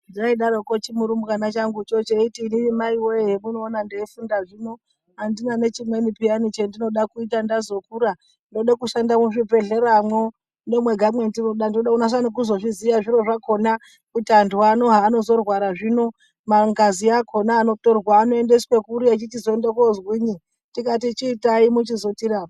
Zvaidaroko chimurumbwana changucho cheiti inini mai voye zvamunoona ndeifunda zvino handina nechimweni peyani chendinoda kuita ndazokura. Ndoda kushanda muzvibhedhleramwo ndimwo ndimwo mwega mwandinoda ndoda kunyasa kuzozviziya zviro zvakona kuti antu ano zvaanozorwara zvino, ngazi yakona anotorwa anoendeswe kuri echichizonoende kozwinyi tikati chiitai muchizotirapa.